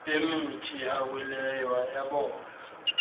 emithi awileyo ayabola